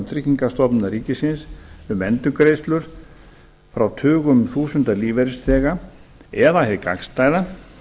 tryggingastofnunar ríkisins um endurgreiðslur frá tugum þúsunda lífeyrisþega eða hið gagnstæða